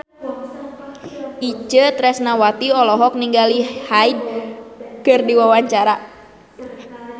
Itje Tresnawati olohok ningali Hyde keur diwawancara